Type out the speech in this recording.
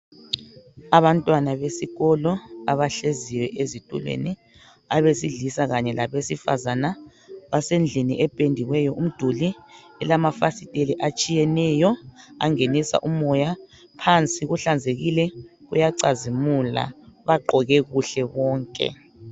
Abantwana besikolo abahleziyo ezitulweni abesilisa kanye labesifazana, basendlini ependiweyo umduli elamafisteli atshiyeneyo angenisa umoya, phansi kuhlanzekile kuyacazimula bagqoke kuhle bonke